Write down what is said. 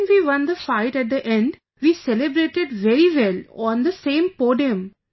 When we won the fight at the end, we celebrated very well on the same podium